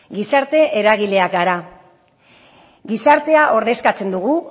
gizarte eragileak gara gizartea ordezkatzen dugu